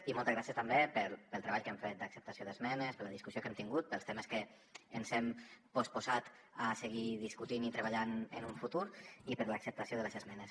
i moltes gràcies també pel treball que hem fet d’acceptació d’esmenes per la discussió que hem tingut pels temes que ens hem posposat a seguir discutint i treballant en un futur i per l’acceptació de les esmenes